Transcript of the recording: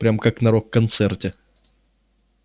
прям как на рок-концерте